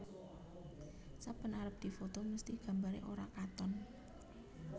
Saben arep difoto mesthi gambare ora katon